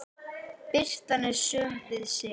Birtan er söm við sig.